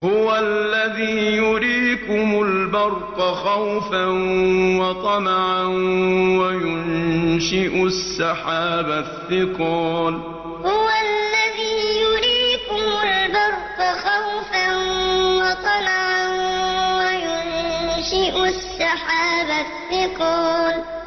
هُوَ الَّذِي يُرِيكُمُ الْبَرْقَ خَوْفًا وَطَمَعًا وَيُنشِئُ السَّحَابَ الثِّقَالَ هُوَ الَّذِي يُرِيكُمُ الْبَرْقَ خَوْفًا وَطَمَعًا وَيُنشِئُ السَّحَابَ الثِّقَالَ